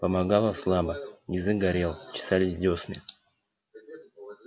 помогало слабо язык горел чесались десны